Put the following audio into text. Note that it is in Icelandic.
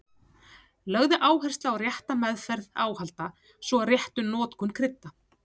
Lögð er áhersla á rétta meðferð áhalda svo og rétta notkun krydda.